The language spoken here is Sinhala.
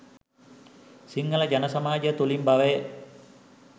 සිංහල ජන සමාජය තුළින් බවය.